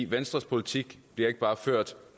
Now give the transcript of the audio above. venstres politik bliver ikke bare ført